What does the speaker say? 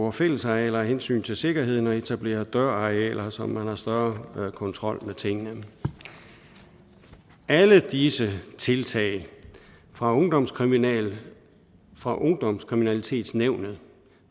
af fællesarealer af hensyn til sikkerheden og etablering af døralarmer så man har større kontrol med tingene alle disse tiltag fra ungdomskriminalitetsnævnet fra ungdomskriminalitetsnævnet